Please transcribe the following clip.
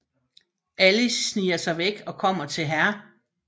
Alice sniger sig væk og kommer til Hr